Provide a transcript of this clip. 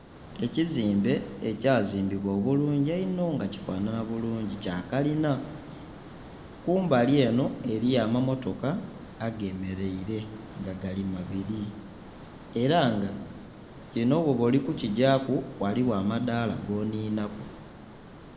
Ekizimbe ekyazimbibwa obulungi einho nga kifanhanha bulungi, kya kalina. Kumbali enho eliyo amammotoka agemeleire nga gali mabiri. Era nga kinho bwoba oli kukigyaku, ghaligho amadaala gonhinhaku.